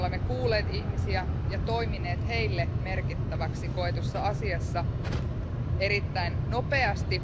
Me olemme kuulleet ihmisiä ja toimineet heille merkittäväksi koetussa asiassa erittäin nopeasti.